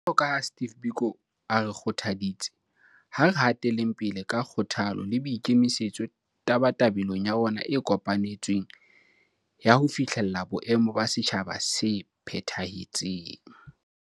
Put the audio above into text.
Jwalo ka ha Steve Biko a re kgothaditse, ha re hateleng pele ka kgothalo le boikemi-setso tabatabelong ya rona e kopanetsweng ya ho fihlella boemo ba setjhaba se phetha-hetseng.